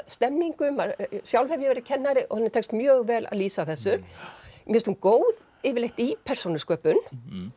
stemningu sjálf hef ég verið kennari og henni tekst mjög vel að lýsa þessu mér finnst hún góð yfirleitt í persónusköpun